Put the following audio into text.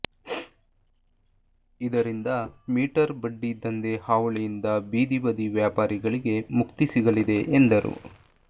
ಇದರಿಂದ ಮೀಟರ್ ಬಡ್ಡಿ ದಂಧೆ ಹಾವಳಿಯಿಂದ ಬೀದಿ ಬದಿ ವ್ಯಾಪಾರಿಗಳಿಗೆ ಮುಕ್ತಿ ಸಿಗಲಿದೆ ಎಂದರು